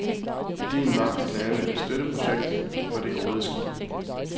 Idéen var at lave et støtteprojekt for det gode skib.